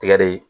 Tigɛ de